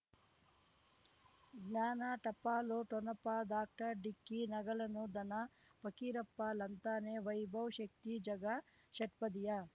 ಜ್ಞಾನ ಟಪಾಲು ಠೊಣಪ ಡಾಕ್ಟರ್ ಢಿಕ್ಕಿ ಣಗಳನು ಧನ ಫಕೀರಪ್ಪ ಳಂತಾನೆ ವೈಭವ್ ಶಕ್ತಿ ಝಗಾ ಷಟ್ಪದಿಯ